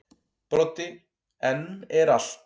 Broddi: En er allt.